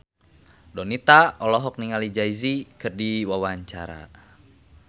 Donita olohok ningali Jay Z keur diwawancara